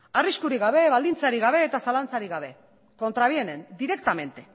arriskurik gabe baldintzarik gabe eta zalantzarik gabe contravienen directamente